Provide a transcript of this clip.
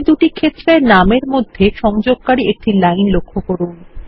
এই দুটি ক্ষেত্রের নামের মধ্যে সংযোগকারী একটি লাইন লক্ষ্য করুন